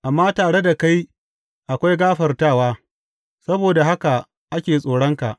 Amma tare da kai akwai gafartawa, saboda haka ake tsoronka.